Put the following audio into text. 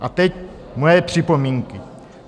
A teď moje připomínky.